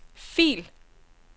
fil